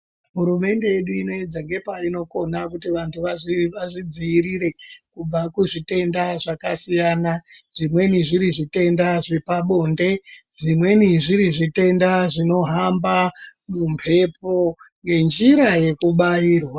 Hurumende yedu inoedza ngepainokona kuti vantu vazvidziirire kubva kuzvitenda zvakasiyana zvimweni zviri zvepabonde, zvimweni zviri zvitenda zvinohamba mumbepo ngenjira yekubairwa.